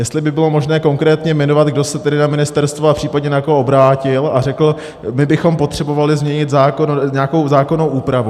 Jestli by bylo možné konkrétně jmenovat, kdo se tedy na ministerstvo a případně na koho obrátil a řekl: my bychom potřebovali změnit zákon, nějakou zákonnou úpravu.